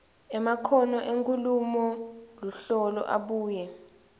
emakhono enkhulumoluhlolo abuye